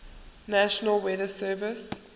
national weather service